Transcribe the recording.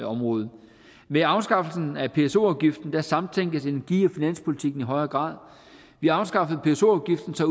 område med afskaffelsen af pso afgiften samtænkes energi og finanspolitikken i højere grad vi afskaffede pso afgiften så